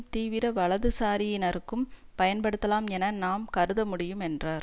தீவிர வலது சாரியினருக்கும் பயன்படுத்தலாம் என நாம் கருதமுடியும் என்றார்